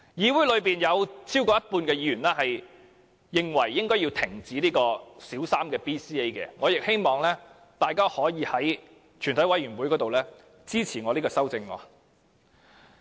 議會內有超過一半議員認為應停止推行小三 BCA， 我亦希望大家可以在全體委員會審議階段支持我的修正案。